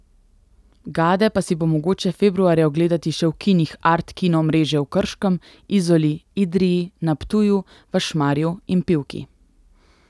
Gade pa si bo mogoče februarja ogledati še v kinih Art kino mreže v Krškem, Izoli, Idriji, na Ptuju, v Šmarju in Pivki.